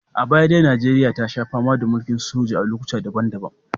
A baya dai Najeriya ta sha fama da mulkin soja a lokuta daban-daban